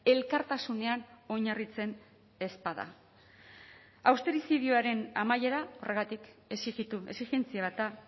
elkartasunean oinarritzen ez bada austerizidioaren amaiera horregatik exijitu exijentzia bat da